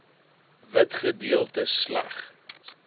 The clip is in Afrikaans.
wit gedeeltes slegs